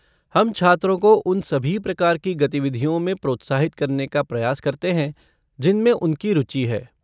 हम छात्रों को उन सभी प्रकार की गतिविधियों में प्रोत्साहित करने का प्रयास करते हैं जिनमें उनकी रुचि है।